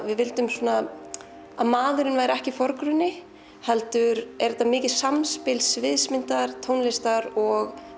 við vildum að maðurinn væri ekki í forgrunni heldur er þetta mikið samspil sviðsmyndar tónlistar og